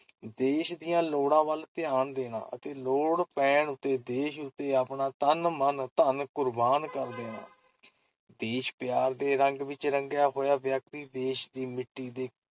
ਦੇਸ਼ ਦੀਆਂ ਲੋੜਾਂ ਵੱਲ ਧਿਆਨ ਦੇਣਾ ਅਤੇ ਲੋੜ ਪੈਣ ਉੱਤੇ ਦੇਸ਼ ਉੱਤੇ ਆਪਣਾ ਤਨ, ਮਨ, ਧਨ ਕੁਰਬਾਨ ਕਰ ਦੇਣਾ । ਦੇਸ਼-ਪਿਆਰ ਦੇ ਰੰਗ ਵਿਚ ਰੰਗਿਆ ਹੋਇਆ ਵਿਅਕਤੀ ਦੇਸ਼ ਦੀ ਮਿੱਟੀ ਦੇ